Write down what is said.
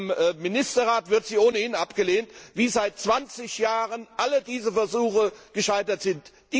Im Ministerrat wird sie ohnehin abgelehnt, wie seit zwanzig Jahren alle derartigen Versuche gescheitert sind.